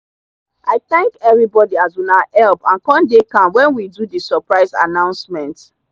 i thank everybody as una help and come dey calm when we do the suprise annoucement.